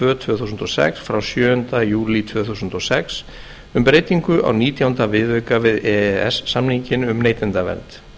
tvö þúsund og sex frá sjöunda júlí tvö þúsund og sex um breytingu á nítjánda viðauka við e e s samninginn um neytendavernd